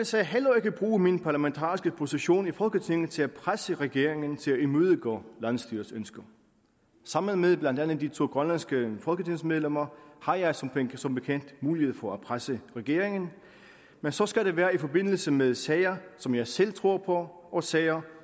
sag heller ikke bruge min parlamentariske position i folketinget til at presse regeringen til at imødegå landsstyrets ønsker sammen med blandt andet de to grønlandske folketingsmedlemmer har jeg som som bekendt mulighed for at presse regeringen men så skal det være i forbindelse med sager som jeg selv tror på og sager